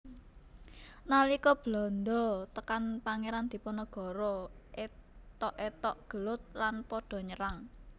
Nalika Belanda tekan Pangeran Diponegoro ethok ethok gelut lan pada nyerang